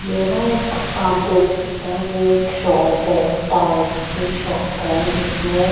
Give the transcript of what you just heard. ये न एक आप देख सकते हैं ये एक शॉप है टायर की शॉप है जिसमें--